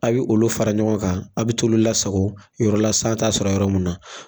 A ye olu fara ɲɔgɔn kan a bɛ t'olu lasago yɔrɔla san ta sɔrɔ yɔrɔ min na.